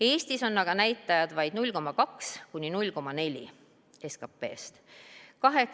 Eestis on aga näitajad vaid 0,2–0,4% SKP-st.